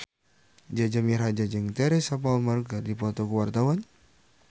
Jaja Mihardja jeung Teresa Palmer keur dipoto ku wartawan